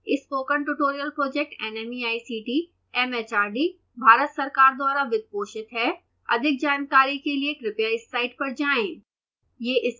spoken tutorial project nmeict mhrd Bharat सरकार द्वारा वित्त पोषित है अधिक जानकारी के लिए कृपया इस साइट पर जाएं